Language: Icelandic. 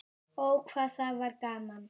Ó, hvað það var gaman.